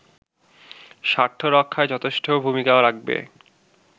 স্বার্থরক্ষায় যথেষ্ট ভুমিকা রাখবে